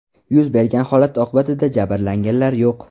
Yuz bergan holat oqibatida jabrlanganlar yo‘q.